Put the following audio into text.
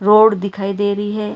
Pot दिखाई दे रही है।